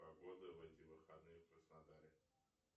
погода в эти выходные в краснодаре